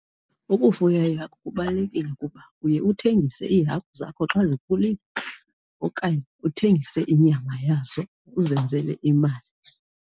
Ukufuya iihagu kubalulekile ukuba uye uthengise iihagu zakho xa zikhulile okanye uthengise inyama yazo uzenzele imali.